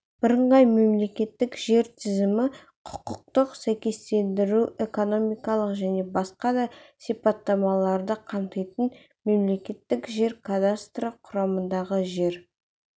бірыңғай мемлекеттік жер тізімі құқықтық сәйкестендіру экономикалық және басқа да сипаттамаларды қамтитын мемлекеттік жер кадастры құрамындағы жер